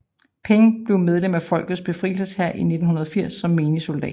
Peng blev medlem af Folkets Befrielseshær i 1980 som menig soldat